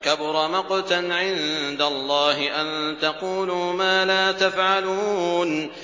كَبُرَ مَقْتًا عِندَ اللَّهِ أَن تَقُولُوا مَا لَا تَفْعَلُونَ